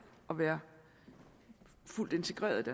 og være fuldt integreret